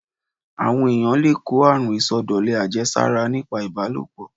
Àwọn èyàn le kó àrun ìsọdọ̀lẹ àjẹsára nípa ìbálòpọ̀.